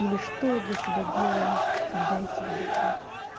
или что я для себя делаю когда я себя люблю